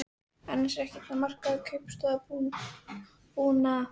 Annars er ekkert að marka ykkur kaupstaðarbúa.